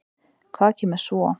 Hvað kemur svo?